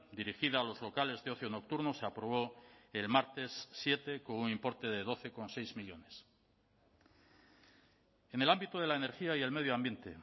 dirigida a los locales de ocio nocturno se aprobó el martes siete con un importe de doce coma seis millónes en el ámbito de la energía y el medio ambiente